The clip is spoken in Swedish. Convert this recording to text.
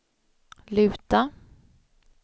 luta